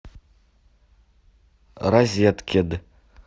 розеткед